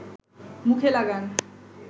মুখে লাগান